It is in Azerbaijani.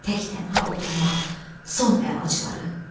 Tək-tənha oturmaq son əlacları.